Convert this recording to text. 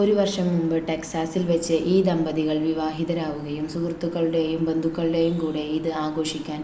ഒരു വർഷം മുൻപ് ടെക്‌സാസിൽ വച്ച് ഈ ദമ്പതികൾ വിവാഹിതരാവുകയും സുഹൃത്തുക്കളുടെയും ബന്ധുക്കളുടെയും കൂടെ ഇത് ആഘോഷിക്കാൻ